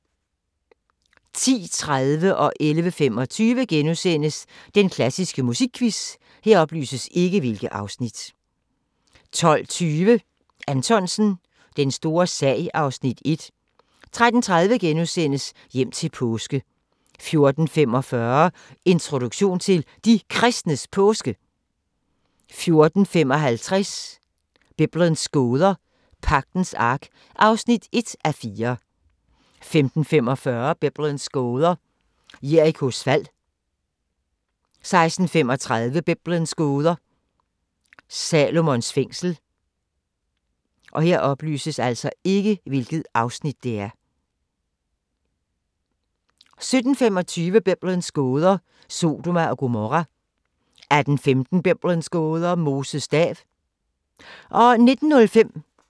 10:30: Den klassiske musikquiz * 11:25: Den klassiske musikquiz * 12:20: Anthonsen – Den store sag (Afs. 1) 13:30: Hjem til påske * 14:45: Introduktion til De Kristnes Påske 14:55: Biblens gåder – Pagtens Ark (1:4) 15:45: Biblens gåder – Jerikos fald 16:35: Biblens gåder – Salomons tempel 17:25: Biblens gåder – Sodoma og Gomorra 18:15: Biblens gåder – Moses stav